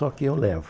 Só que eu levo.